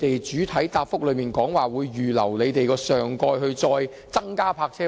主體答覆提及會預留口岸人工島的上蓋增設泊車位。